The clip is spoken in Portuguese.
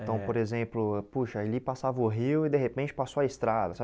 Eh então, por exemplo, poxa ali passava o rio e, de repente, passou a estrada